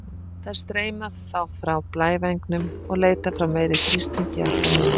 Þær streyma þá frá blævængnum og leita frá meiri þrýstingi í átt að minni.